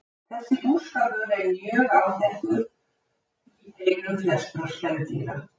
Þessi búskapur er mjög áþekkur í heilum flestra spendýra.